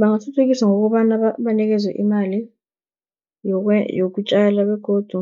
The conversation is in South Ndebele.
Bangathuthukiswa ngokobana banikezwe imali yokutjala begodu